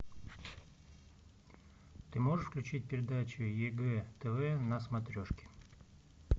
ты можешь включить передачу егэ тв на смотрешке